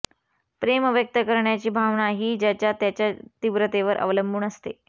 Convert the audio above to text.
प्रेम व्यक्त करण्याची भावना ही ज्याच्या त्याच्या तीव्रतेवर अवलंबून असते